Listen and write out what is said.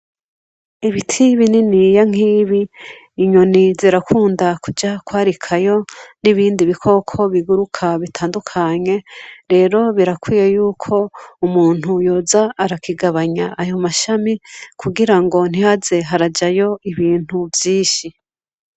Ibiti bininiya nk'ibi inyoni zirakunda kuja kwarikayo n'ibindi bikoko biguruka bitandukanye rero birakwiye yuko umuntu yoza arakigabanya ayo mashami kugirango ntihaze harajayo ibintu vyinshi.